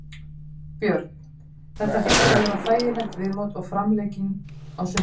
Björn: Þetta hlýtur að vera þægileg viðbót og framlenging á sumrinu?